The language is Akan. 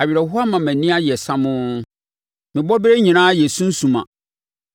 Awerɛhoɔ ama mʼani ayɛ samoo me bɔberɛ nyinaa yɛ sunsumma.